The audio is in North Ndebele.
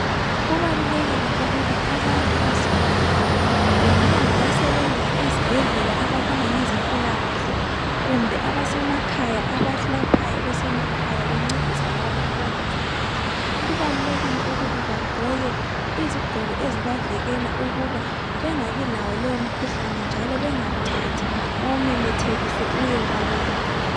Kubalulekile ukuba abantu bazivikele. Bengaba ngabasebenza ezibhedlela, ababona ngezempilakahle, kumbe abasemakhaya. Abelaphayo, besemakhaya. Bencedisa labo abangezwa kahle. Kubalulekile ukuba bagqoke izigqoko ezibavikela ukuba bengabilawo lowomkhuhlane, njalo bangawuthathi. Bawumemethekise, uye kwabanye.